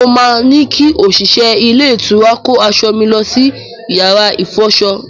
Mo máa ní kí òṣìṣẹ́ ilé-ìtura kó aṣọ mi lọ sí yàrá ìfọṣọ.